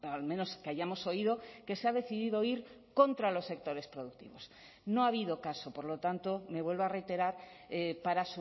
al menos que hayamos oído que se ha decidido ir contra los sectores productivos no ha habido caso por lo tanto me vuelvo a reiterar para